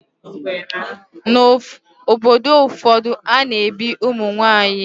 N'obodo ụfọdụ, a na-ebi ụmụ nwaanyị úgwù